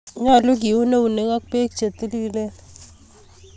nyalun ke un eunek ak bek chetililen